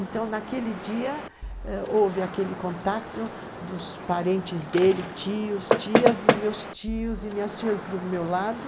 Então, naquele dia eh, houve aquele contato dos parentes dele, tios, tias e meus tios e minhas tias do meu lado.